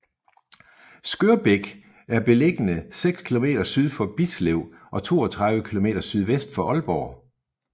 Skørbæk er beliggende seks kilometer syd for Bislev og 32 kilometer sydvest for Aalborg